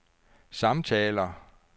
samtaler